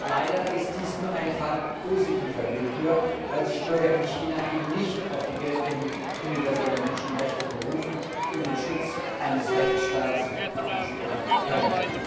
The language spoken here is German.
Leider ist dies nur ein Fall positiver Willkür, weil sich Bürger in China eben nicht auf die Geltung universeller Menschenrechte berufen und den Schutz eines Rechtsstaats beanspruchen können.